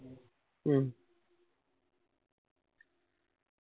മ്മ്